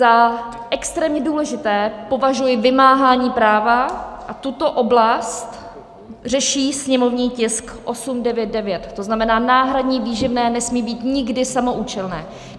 Za extrémně důležité považuji vymáhání práva a tuto oblast řeší sněmovní tisk 899 , to znamená, náhradní výživné nesmí být nikdy samoúčelné.